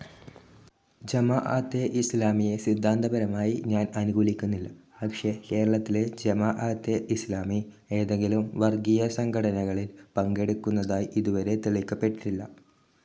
ജമാഅത്തെ ഇസ്ലാമിയെ സിദ്ധാന്തപരമായി ഞാൻ അനുകൂലിക്കുന്നില്ല. പക്ഷേ, കേരളത്തിലെ ജമാഅത്തെ ഇസ്ലാമി ഏതെങ്കിലും വർഗീയ സംഘട്ടനങ്ങളിൽ പങ്കെടുത്തതായി ഇതുവരെ തെളിയിക്കപ്പെട്ടിട്ടില്ല.